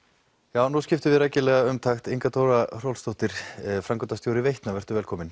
já nú skiptum við rækilega um takt Inga Dóra Hrólfsdóttir framkvæmdastjóri Veitna vertu velkomin